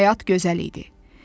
Həyat gözəl idi.